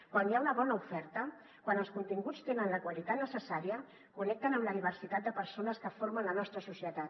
quan hi ha una bona oferta quan els continguts tenen la qualitat necessària connecten amb la diversitat de per·sones que formen la nostra societat